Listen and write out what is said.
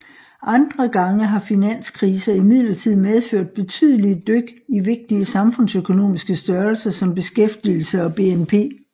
Andre gange har finanskriser imidlertid medført betydelige dyk i vigtige samfundsøkonomiske størrelser som beskæftigelse og BNP